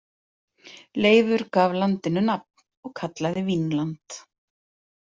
Leifur gaf landinu nafn og kallaði Vínland.